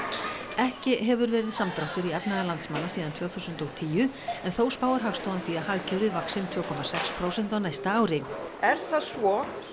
ekki hefur verið samdráttur í efnahag landsmanna síðan tvö þúsund og tíu en þó spáir Hagstofan því að hagkerfið vaxi um tvö komma sex prósent á næsta ári er það svo